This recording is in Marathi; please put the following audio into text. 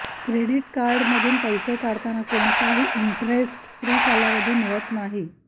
क्रेडिट कार्डमधून पैसे काढताना कोणताही इंटरेस्ट फ्री कालावधी मिळत नाही